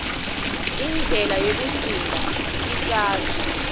indlela yekugcina titjalo